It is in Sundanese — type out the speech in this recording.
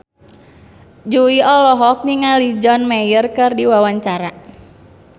Jui olohok ningali John Mayer keur diwawancara